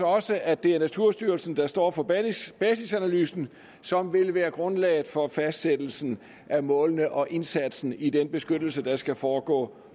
også at det er naturstyrelsen der står for basisanalysen som vil være grundlaget for fastsættelsen af målene og indsatsen i den beskyttelse der skal foregå